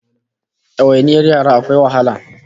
Dawainiyar yara akwai wahala